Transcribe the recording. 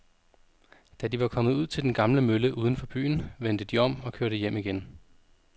Da de var kommet ud til den gamle mølle uden for byen, vendte de om og kørte hjem igen.